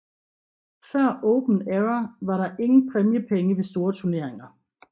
Før Open Era var der ingen præmiepenge ved store turneringer